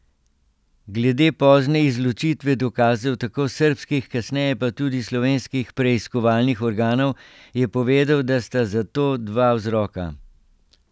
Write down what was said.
Glede pozne izločitve dokazov, tako srbskih, kasneje pa tudi slovenskih preiskovalnih organov, je povedal, da sta za to dva vzroka.